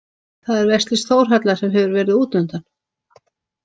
Það er vesalings Þórhalla sem hefur verið útundan.